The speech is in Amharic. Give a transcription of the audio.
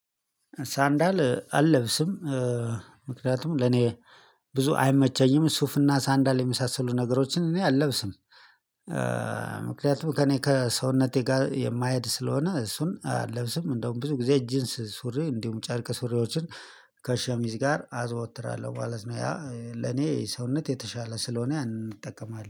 ሳንዳል አልለብስም። ምክንያቱም ለኔ ብዙ አይመቸኝም ሱፍና ሳንዳል የመሳሰሉ ነገሮችን እኔ አለብስም። ምክንያቱም ከእኔ ከሰውነቴ ጋር የማይሄድ ስለሆነ እሱን አለብስም እንደውም ብዙ ጊዜ ጂንስ ሱሬ እንዲሁም ጨርቅ ሱሬዎችን። ከሸሚዝ ጋር አዘወትራለሁ ማለት ነው ያ ለኔ ሰውነት የተሻለ ስለሆነ ያንን እጠቀማለው